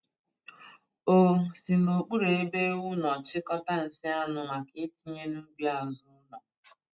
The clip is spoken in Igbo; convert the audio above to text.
O si n'okpuru ebe ewu nọ chịkọta nsị anụ maka itinye n'ubi azụ ụlọ.